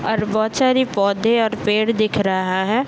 और बहोत सारी पौधे और पेड़ दिख रहा है।